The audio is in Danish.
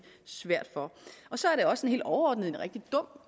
svært for så er det også helt overordnet en rigtig dum